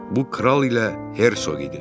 Bu kral ilə hersoq idi.